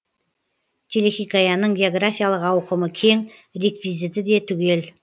телехикаяның географиялық ауқымы кең реквизиті де түгел